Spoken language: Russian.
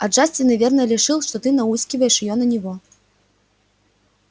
а джастин наверное решил что ты науськиваешь её на него